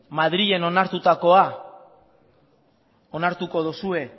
madrilen onartutako onartuko duzue